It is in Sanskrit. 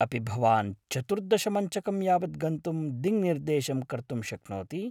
अपि भवान् चतुर्दश मञ्चकं यावद् गन्तुं दिङ्निर्देशं कर्तुं शक्नोति ?